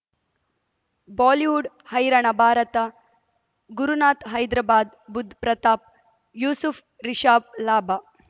Bollywood ಹೈರಾಣ ಭಾರತ ಗುರುನಾಥ್ ಹೈದರಾಬಾದ್ ಬುಧ್ ಪ್ರತಾಪ್ ಯೂಸುಫ್ ರಿಷಬ್ ಲಾಭ